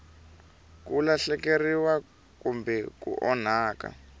ku lahlekeriwa kumbe ku onhaka